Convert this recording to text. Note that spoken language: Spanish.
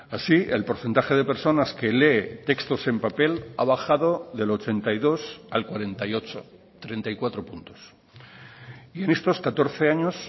así el porcentaje de personas que lee textos en papel ha bajado del ochenta y dos al cuarenta y ocho treinta y cuatro puntos y en estos catorce años